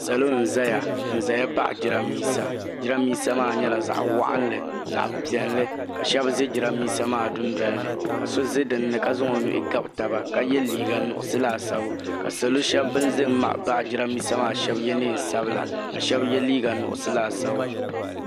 Salo n zaya n zaya paɣi jirambisa jirambisa maa nyɛla zaɣa waɣanli zaɣa piɛlli ka sheba ʒɛ jirambisa maa dundolini ka so za dinni ka zaŋ o nuhi gabi taba ka ye liiga nuɣuso laasabu ka salo sheba ban ʒɛ n baɣi jirambisa maa sheba ye niɛn sabila ka sheba ye liiga nuɣuso laasabu.